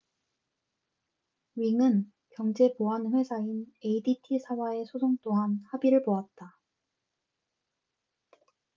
ring은 경쟁 보안회사인 adt 사와의 소송 또한 합의를 보았다